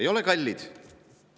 Ei ole kallid!